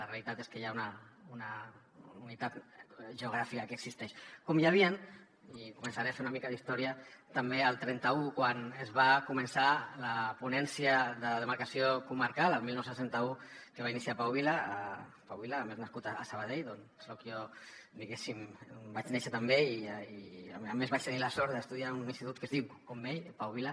la realitat és que hi ha una unitat geogràfica que existeix com hi havia i començaré a fer una mica d’història també el trenta un quan es va començar la ponència de demarcació comarcal el dinou trenta u que va iniciar pau vila pau vila a més nascut a sabadell d’on soc jo diguéssim on vaig néixer també i a més vaig tenir la sort d’estudiar en un institut que es diu com ell pau vila